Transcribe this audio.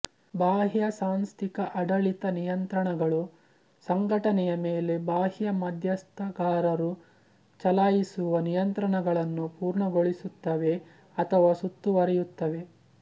ಬಾಹ್ಯ ಸಾಂಸ್ಥಿಕ ಅಡಳಿತ ನಿಯಂತ್ರಣಗಳು ಸಂಘಟನೆಯ ಮೇಲೆ ಬಾಹ್ಯ ಮಧ್ಯಸ್ಥಗಾರರು ಚಲಾಯಿಸುವ ನಿಯಂತ್ರಣಗಳನ್ನು ಪೂರ್ಣಗೊಳಿಸುತ್ತವೆ ಅಥವಾ ಸುತ್ತುವರಿಯುತ್ತವೆ